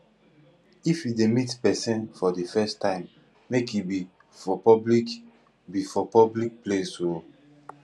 if you dey meet pesin for de first time make e be for public be for public place oo